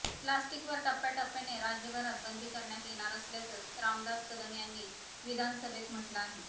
प्लास्टिकवर टप्प्याटप्प्याने राज्यभरात बंदी करण्यात येणार असल्याचं रामदास कदम यांनी विधानसभेत म्हटलं आहे